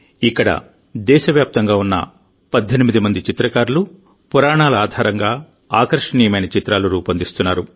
ఇక్కడ దేశవ్యాప్తంగా ఉన్న 18 మంది చిత్రకారులు పురాణాల ఆధారంగా ఆకర్షణీయమైన చిత్రాలు రూపొందిస్తున్నారు